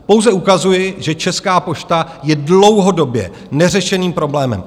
Pouze ukazuji, že Česká pošta je dlouhodobě neřešeným problémem.